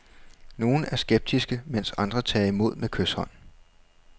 Nogle er skeptiske, mens andre tager imod med kyshånd.